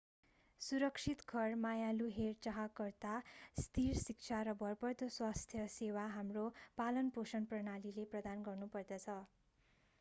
सुरक्षित घर मायालु हेरचाहकर्ता स्थिर शिक्षा र भरपर्दो स्वास्थ्य सेवा हाम्रो पालनपोषण प्रणालीले प्रदान गर्नुपर्दछ